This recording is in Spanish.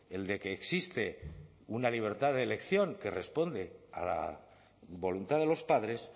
el de que existe una libertad de elección que responde a la voluntad de los padres